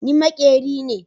Ni makeri me.